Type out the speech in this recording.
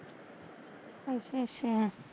ਅੱਛਾ ਅੱਛਾ